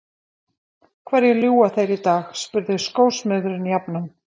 Hverju ljúga þeir í dag? spurði skósmiðurinn jafnan.